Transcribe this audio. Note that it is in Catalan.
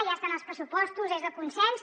ja està en els pressupostos és de consens